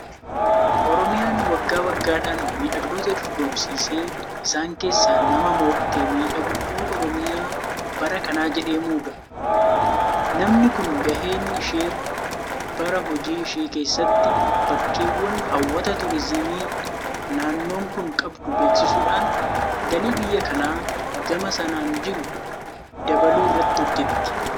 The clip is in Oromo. Orimiyaan waggaa waggaadhaan miidhagdoota dorgomsiisee isaan keessaa nama mo'ate miidhagduu Oromiyaa bara kanaa jedhee muuda. Namni kun gaheen ishee bara hojii ishee keessatti bakkeewwan hawwata Turiizimii naannoon kun qabdu beeksisuudhaan galii biyya kanaa gama sanaan jiru dabaluu irratti hojjetti.